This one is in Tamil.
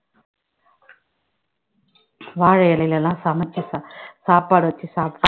வாழை இலையில எல்லாம் சமைச்சு சா~ சாப்பாடு வச்சு சாப்பிட்டு